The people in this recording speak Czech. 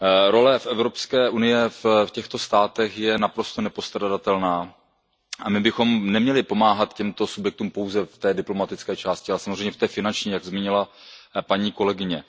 Role Evropské unie v těchto státech je naprosto nepostradatelná a my bychom neměli pomáhat těmto subjektům pouze v té diplomatické části, ale samozřejmě v té finanční, jak zmínila paní kolegyně.